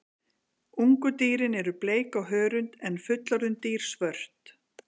Ungu dýrin eru bleik á hörund en fullorðin dýr svört.